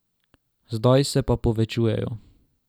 Zdaj se pa povečujejo.